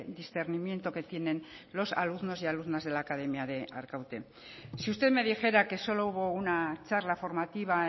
discernimiento que tienen los alumnos y alumnas de la academia de arkaute si usted me dijera que solo hubo una charla formativa